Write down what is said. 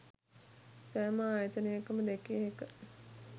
සෑම ආයතනයකම දැකිය හැක